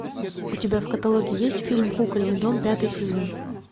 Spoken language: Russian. у тебя в каталоге есть фильм кукольный дом пятый сезон